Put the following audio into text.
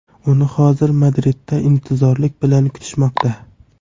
Uni hozir Madridda intizorlik bilan kutishmoqda.